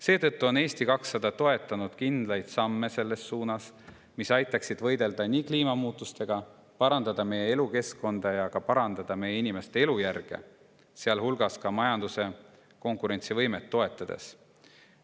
Seetõttu on Eesti 200 toetanud kindlaid samme, mis aitaksid võidelda kliimamuutustega, parandada meie elukeskkonda ja ka inimeste elujärge, sealjuures majanduse konkurentsivõimet toetades.